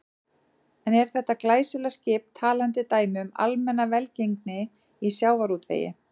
En er þetta glæsilega skip talandi dæmi um almenna velgengni í sjávarútvegi?